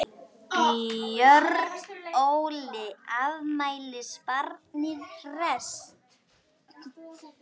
Björn Óli, afmælisbarnið hresst?